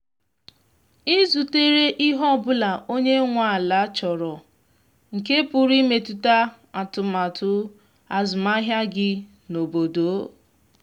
ị zutere ihe ọbụla onye nwe ala chọrọ nke pụrụ imetụta atụmatụ azụmahịa gị n’obodo?